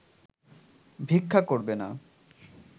ভিক্ষা করবে না